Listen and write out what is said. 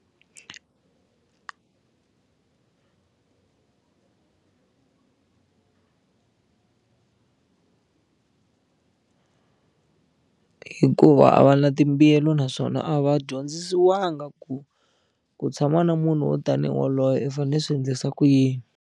Hikuva a va na timbuyelo naswona a va dyondzisiwangi ku ku tshama na munhu wo tanihi waloye i fane swi endlisa ku yini.